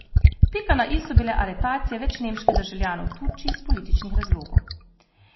Pika na i so bile aretacije več nemških državljanov v Turčiji iz političnih razlogov.